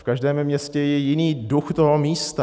V každém městě je jiný duch toho místa.